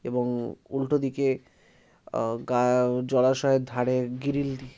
এবং-অ উল্টোদিকে আ গা জলাশয়ের ধারে গ্রিল দি--